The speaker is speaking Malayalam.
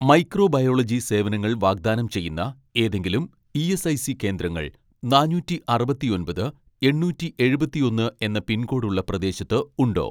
മൈക്രോബയോളജി സേവനങ്ങൾ വാഗ്ദാനം ചെയ്യുന്ന ഏതെങ്കിലും ഇ.എസ്.ഐ.സി കേന്ദ്രങ്ങൾ നാനൂറ്റി അറുപത്തിയൊമ്പത് എണ്ണൂറ്റി എഴുപത്തിയൊന്ന് എന്ന പിൻകോഡ് ഉള്ള പ്രദേശത്ത് ഉണ്ടോ.